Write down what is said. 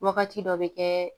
Wagati dɔ bɛ kɛ